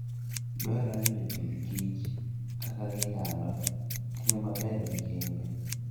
Dwarore ni jopith kich kaka ginyalo tiyo maber gi kembe.